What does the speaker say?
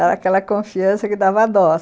Era aquela confiança que dava dó.